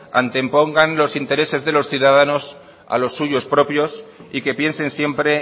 antepongan los intereses de los ciudadanos a los suyos propios y que piensen siempre